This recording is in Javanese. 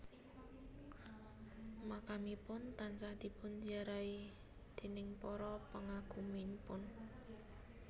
Makamipun tansah dipun ziarahi déning para pengagumipun